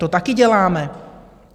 To taky děláme.